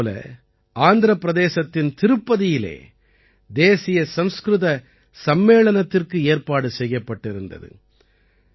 அதே போல ஆந்திர பிரதேசத்தின் திருப்பதியிலே தேசிய சம்ஸ்கிருத சம்மேளனத்திற்கு ஏற்பாடு செய்யப்பட்டிருந்தது